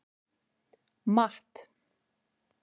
Matt